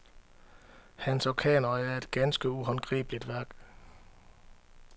Hans orkanøje er et ganske uhåndgribeligt værk.